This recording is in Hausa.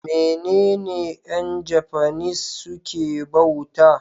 menene Yan japanese suke bauta?